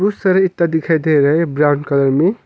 बहुत सारा ईटा दिखाई दे रहा है ब्राऊन कलर में।